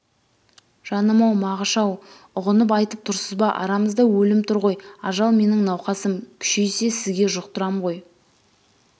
жаным-ау мағыш-ау ұғынып айтып тұрсыз ба арамызда өлім тұрғой ажал менің науқасым күшейсе сізге жұқтырам ғой